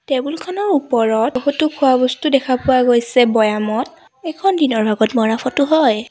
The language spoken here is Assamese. টেবুল খনৰ ওপৰত বহুতো খোৱা বস্তু দেখা পোৱা গৈছে বৈয়ামত এইখন দিনৰ ভাগত মাৰা ফটো হয়।